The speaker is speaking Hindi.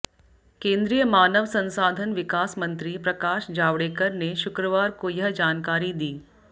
केंद्रीय मानव संसाधन विकास मंत्री प्रकाश जावड़ेकर ने शुक्रवार को यह जानकारी दी